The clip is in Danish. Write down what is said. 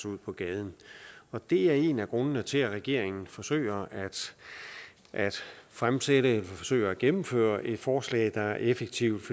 ud på gaden det er en af grundene til at regeringen forsøger at fremsætte forsøger at gennemføre et forslag der er effektivt